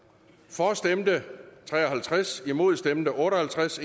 for stemte tre og halvtreds imod stemte otte og halvtreds